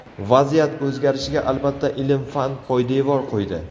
Vaziyat o‘zgarishiga, albatta, ilm-fan poydevor qo‘ydi.